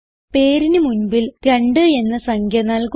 പേരിന് മുൻപിൽ 2 എന്ന സംഖ്യ നൽകുക